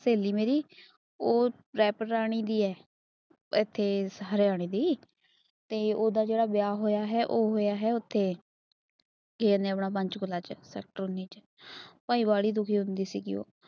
ਸਹੇਲੀ ਮੇਰੀ ਉਹ ਰੱਤਰਾਣੀ ਦੀ ਐ ਇੱਥੇ ਹਰਿਆਣੇ ਦੀ। ਤੇ ਉਹੰਦਾ ਜਿਹੜਾ ਵਿਆਹ ਹੋਇਆ ਹੈ। ਉਹ ਹੋਇਆ ਹੈ ਉੱਥੇ ਕੀ ਕੇਹਂਦੇ ਪੰਚਕੂਲਾ ਸੇਕ੍ਟਰ